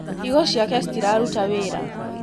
Higo ciake citiraruta wĩra.